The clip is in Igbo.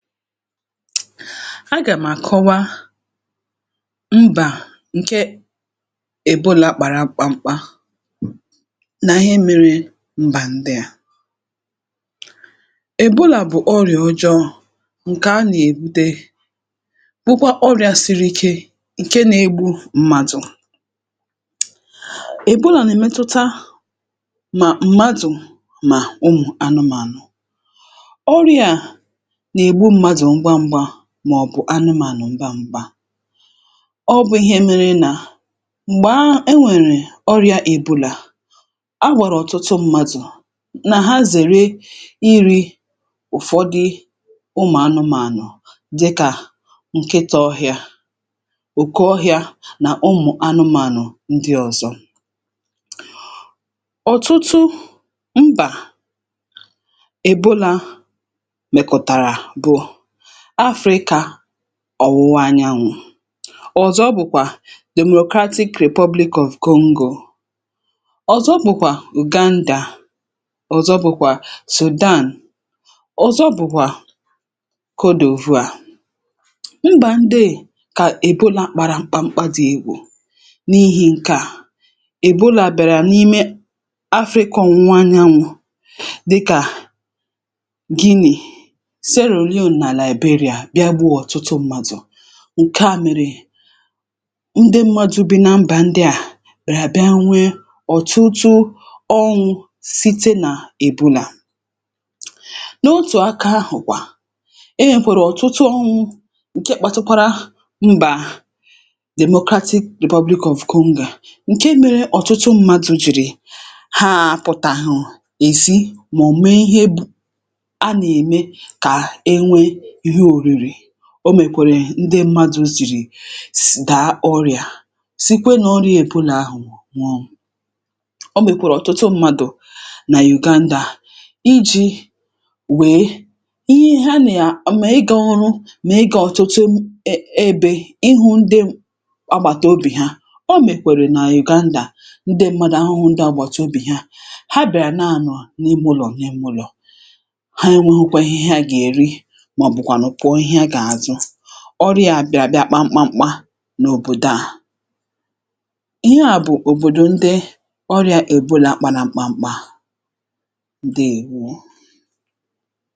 a gàm̀ àkọwa mbà ǹke èbolā kpara mkpamkpa nà ihe mērē mbà ndịà èbolà bụ̀ ọrị̀à ọjọọ̄ ǹkè a nà-èbute bụkwa ọrị̄ā siri ike ǹke na-egbu m̀màdụ̀ èbolà nà-èmetụta mà mmadụ̀ mà ụmụ̀anụmànụ̀ ɔ́rj̄ā à nà-ègbu mmadụ̀ ngwa n̄gwā màọ̀bụ̀ anụmànụ̀ ngwa n̄gwā ọ bụ̄ ihe mērē nà m̀gbàa e nwèrè ọrị̄ā ebolà a gwàrà ọ̀tụtụ m̄mādụ̀ nà ha zère irī ụ̀fọdị ụmụ̀anụmānụ̀ dịkà nkịtā ọhị̄ā òke ȯhị̄ā nà ụmụ̀anụmānụ ndị ọ̀zọ ọ̀tụtụ mbà èbolā mèkọ̀tàrà bụ̀ Africa ọ̀wụwa anyanwụ̄ ọ̀zọ bụ̀kwà democratic republic of Congo ọ̀zọ bụ̀kwà Uganda ọ̀zọ bụ̀kwà Sudan ọ̀zọ bụ̀kwà Kodòvuà mbà ndeè kà èbolā kpara mkpamkpa dị̄ egwù n’ihī ǹkeà èbolà bị̀àrà n’ime Africa ọ̀wụwa anyanwụ̄ dịkà Guinea Sierra Leone nà Liberia bịa gbuo ọ̀tụtụ m̄mādụ̀ ǹkeà mèrè ndị mmadụ̄ bi na mbà ndịà bị̀àrà bịa nwee ọ̀tụtụ ọnwụ̄ site nà èbolà n’otù akā ahụ̀ kwà e nwèkwèrè ọ̀tụtụ ọnwụ̄ ǹke kpatụkwara mbà democratic republic of Conga ǹke mērē ọ̀tụtụ mmadụ̄ jìrì haā àpụ̀tàhụ̀ èzi màọ̀bụ̀ mee ihe bụ̄ a nà-ème kà enwee ihe ōriri o mèkwèrè ndị mmadụ̄ zìrì s dàa ọrị̀à sikwe n’ọrị̄ā èbolà ahụ̀ nwụọ o mèkwèrè ọ̀tụtụ m̄mādụ̀ nà Uganda ijī wèe ihe ha nà mà ịgā ọrụ mà ịgā ọ̀tụtụ e ebē ịhụ̄ ndị agbàtàobì ha, o mèkwèrè nà Uganda ndị m̄mādụ̀ ahụ̄hụ ndị àgbàtàobì ha, ha bị̀àrà na-anọ̀ n’ime ụlọ̀ n’ime ụlọ̀ ha enwēhokwa ihe ha gà-èri màọ̀bụ̀kwànụ̀ kwọ̀ ihe gà-àzụ, ọrị̄ā bị̀à bịa kpaa mkpamkpa n’òbòdò à iheà bụ̀ òbòdò ndị ọrị̄ā èbolā kpara mkpamkpa ǹdeèwo